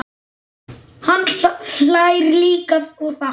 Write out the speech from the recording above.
Hann hlær líka og þakkar.